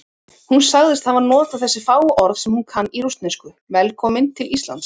Hún sagðist hafa notað þessi fáu orð sem hún kann í rússnesku: Velkominn til Íslands.